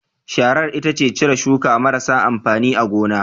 Sharar ita ce cire shuka marasa amfani a gona